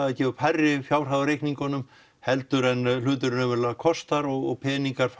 gefa upp hærri fjárhæðir á reikningunum heldur en hluturinn raunverulega kostar og peningar